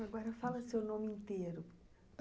Agora fala seu nome inteiro.